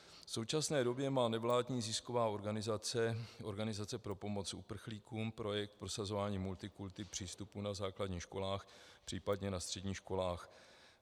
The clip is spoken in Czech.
V současné době má nevládní zisková organizace Organizace pro pomoc uprchlíkům projekt prosazování multikulti přístupu na základních školách, případně na středních školách.